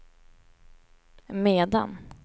medan